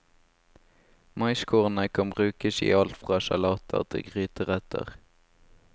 Maiskornene kan brukes i alt fra salater til gryteretter.